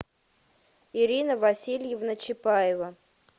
ирина васильевна чапаева